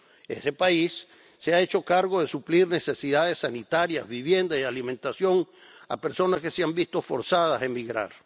Ese país se ha hecho cargo de suplir necesidades sanitarias, vivienda y alimentación a personas que se han visto forzadas a emigrar.